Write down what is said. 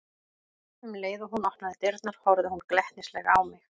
Um leið og hún opnaði dyrnar horfði hún glettnislega á mig.